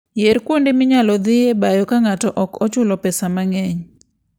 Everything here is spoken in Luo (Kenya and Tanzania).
Yier kuonde minyalo dhiyoe bayo ka ng'ato ok ochulo pesa mang'eny.